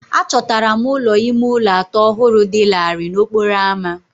Achọtara m ụlọ ime ụlọ atọ ọhụrụ dị larịị n'okporo ámá